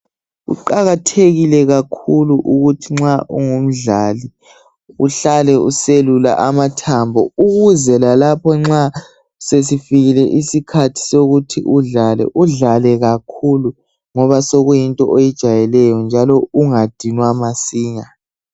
kuqakathekile kakhulu ukuthi nxa ungumdlali uhlale uselula amathambo ukuze lalapho nxa sesifikile isikhathi sokuthi udlale udlale kakhulu ngoba sokuyinto oyijayeleyo njalo ungadinwa masinya